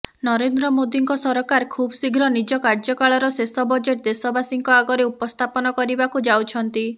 ନରେନ୍ଦ୍ର ମୋଦିଙ୍କ ସରକାର ଖୁବଶୀଘ୍ର ନିଜ କାର୍ଯ୍ୟକାଳର ଶେଷ ବଜେଟ ଦେଶବାସୀଙ୍କ ଆଗରେ ଉପସ୍ଥାପନ କରିବାକୁ ଯାଉଛନ୍ତି